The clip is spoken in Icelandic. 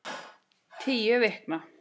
Tíu vikna